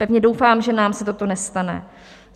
Pevně doufám, že nám se toto nestane.